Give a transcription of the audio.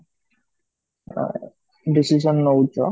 ଆଁ decision ନଉଛ